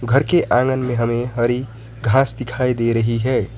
घर के आँगन में हमें हरी घास दिखाई दे रही है।